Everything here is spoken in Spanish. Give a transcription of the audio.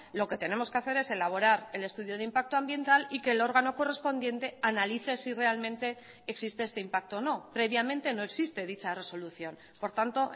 lo que tenemos que hacer es elaborar el estudio de impacto ambiental y que el órgano correspondiente analice si realmente existe este impacto o no previamente no existe dicha resolución por tanto